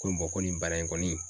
Ko ko nin baara in kɔni.